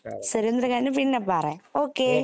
കേട്ടോ ഓക്കെ സുരേന്ദ്രന്റെ കാര്യം പിന്നെ പറയാം